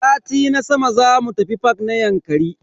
Sati na sama zamu tafi fak na Yankari.